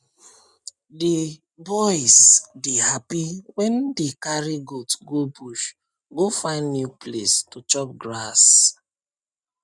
the boys dey happy wen dey carry goat go bush go find new place to chop grass